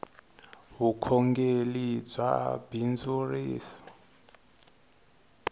vukhongeli bya bindzurisa